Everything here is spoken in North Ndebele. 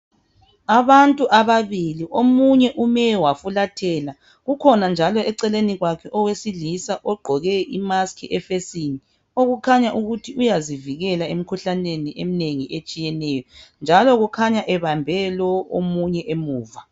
Abantu ababili omunye ume wafulathela kukhona njalo eceleni kwakhe owesilisa ogqoke imusk ebusweni okukhanya ukuthi uyazivikela emikhuhlaneni eminengi etshiyeneyo njalo kukhanya ebambe lo omunye emuva.